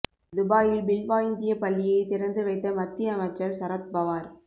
துபாயில் பில்வா இந்திய பள்ளியை திறந்து வைத்த மத்திய அமைச்சர் சரத் பவார்